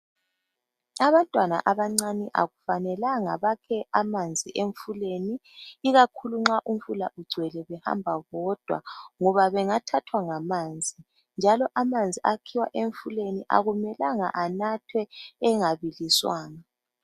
abantwana abancane akufanelanga bakhe amanzi emfuleni ikakhulu nxa umfula ugcwele behamba ngoba bengathahwa ngamanzi njalo amanzi akhiwa emfuleni akumelanga anthwe engabiliswanga